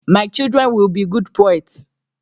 My children will be good poets.